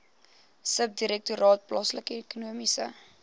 subdirektoraat plaaslike ekonomiese